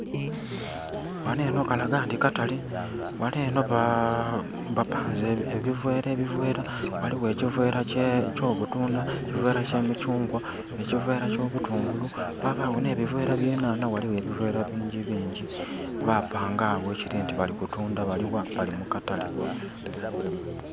Ghanho enho kalaga nti katale ghanho enho bapanze ebivera ebivera. Ghaligho ekivera ky'obutundha, ekivera ky'emikyungwa, ekivera ky'obutungulu, ghabagho nhe bivera bye nhanha ghaligho ebivera bingi bingi. Ba panga agho ekiri nti bali kutundha. Bali gha? Bali mu katale.